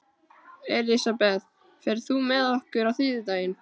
Elisabeth, ferð þú með okkur á þriðjudaginn?